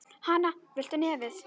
Hana, viltu í nefið?